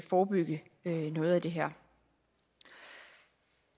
forebygge noget af det her